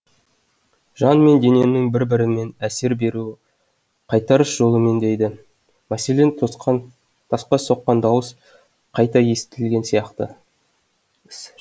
жан мен дененің бір бірімен әсер беруі қайтарыс жолымен дейді мәселен тасқа соққан дауыс қайта естілген сияқты